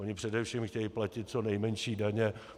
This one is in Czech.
Oni především chtějí platit co nejmenší daně.